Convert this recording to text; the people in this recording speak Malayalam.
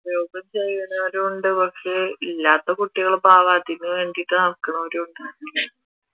ഉണ്ട് പക്ഷെ ഇല്ലാത്ത കുട്ടികൾ പാവം അതിനുവേണ്ടിയിട്ട് നടക്കണവരും ഉണ്ട്